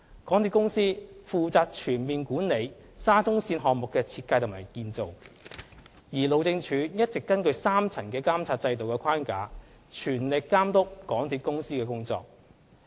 港鐵公司負責全面管理沙中線項目的設計及建造，而路政署一直根據3層監察制度的框架，全力監督港鐵公司的工作。